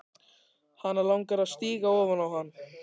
Hana langar að stíga ofan á hann.